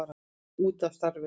Út af starfinu.